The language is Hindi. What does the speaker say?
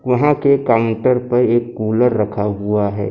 वहां के काउंटर पर एक कूलर रखा हुआ है।